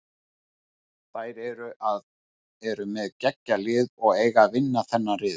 Þær eru með geggjað lið og eiga að vinna þennan riðil.